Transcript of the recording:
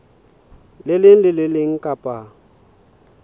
leng le le leng kapa